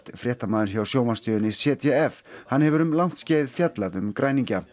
fréttamaður hjá sjónvarpsstöðinni z d f hann hefur um langt skeið fjallað um græningja